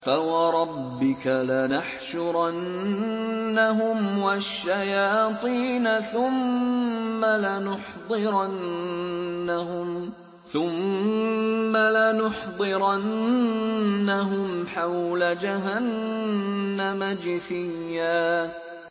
فَوَرَبِّكَ لَنَحْشُرَنَّهُمْ وَالشَّيَاطِينَ ثُمَّ لَنُحْضِرَنَّهُمْ حَوْلَ جَهَنَّمَ جِثِيًّا